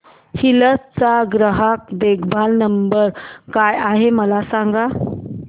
hills चा ग्राहक देखभाल नंबर काय आहे मला सांग